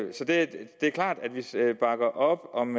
klart at vi bakker op om